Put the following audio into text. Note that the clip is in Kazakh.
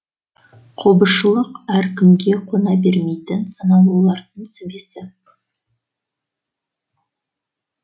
қобызшылық әр кімге қона бермейтін санаулылардың сүбесі